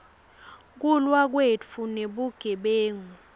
kulwa kwetfu nebugebengu